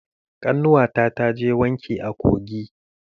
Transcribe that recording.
Ƙannuwa ta taje wanki a kogi.